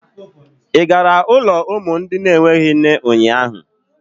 Ị gara ụlọ umu enweghị nne ụnyaahụ?